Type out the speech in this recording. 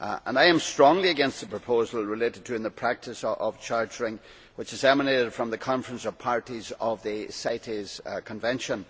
I am strongly against the proposal relating to the practice of chartering which has emanated from the Conference of Parties of the CITES Convention.